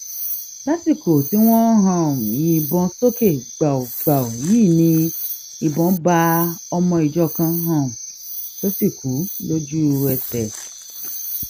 lásìkò tí wọn um ń yìnbọn sókè gbàù gbàù yìí ni ìbọn bá ọmọ ìjọ kan um tó sì kú lójúẹsẹ